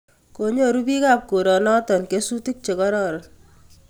Konyoru bikap koronoti kesutik che kororon